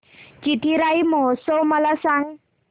चिथिराई महोत्सव मला सांग